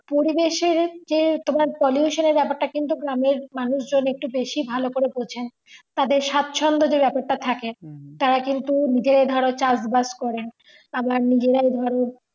পরিবেশের যে তোমার pollution এর ব্যাপারটা কিন্তু গ্রামের মানুষ জন একটু বেশি ভালো করে বোঝে তাদের সাচ্ছন্দ যে ব্যাপারটা থাকে তারা কিন্তু নিজে ধরো চাষ বাস করে আবার নিজেরাই ধরো